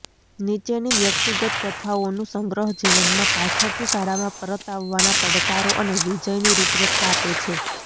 નીચેની વ્યક્તિગત કથાઓનું સંગ્રહ જીવનમાં પાછળથી શાળામાં પરત આવવાના પડકારો અને વિજયની રૂપરેખા આપે છે